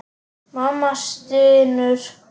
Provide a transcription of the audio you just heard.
Mamma stynur.